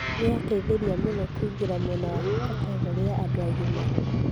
"Nĩ ya teitherie mũno kũigera mwena wa kategore ya andũ agima